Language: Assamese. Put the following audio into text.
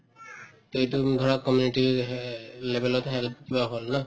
to এইটো ধৰা community hello level ত help কিবা হল ন